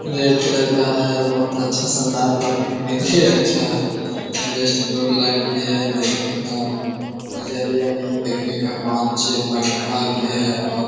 Red colour का है। और बहुत अच्छा शानदार लोकने के लिये अच्छा है बेस्ट दो लाइट भी है देखने का नजारा नहीं देखने का पांच-छे पंखा भी है और --